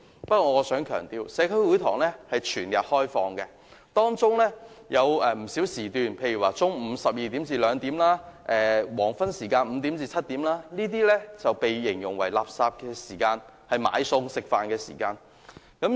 不過，我想強調，社區會堂是全日開放的，當中有不少時段，例如中午12時至2時及黃昏5時至7時，都被形容為"垃圾時間"，是"買餸"、食飯的時間。